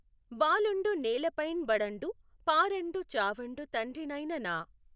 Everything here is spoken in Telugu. బాలుఁడు నేలపైఁ బడఁడు పాఱఁడు చావఁడు తండ్రినైన నా